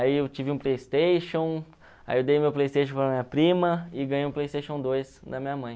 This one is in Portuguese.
Aí eu tive um Playstation, aí eu dei meu Playstation para minha prima e ganhei um Playstation dois da minha mãe.